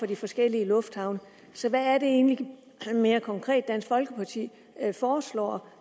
de forskellige lufthavne så hvad er det egentlig mere konkret dansk folkeparti foreslår